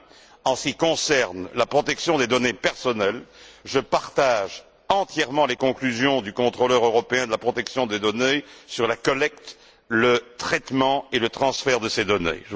Enfin, en ce qui concerne la protection des données personnelles, je partage entièrement les conclusions du contrôleur européen de la protection des données sur la collecte, le traitement et le transfert de ces données.